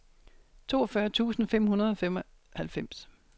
toogfyrre tusind fem hundrede og halvfems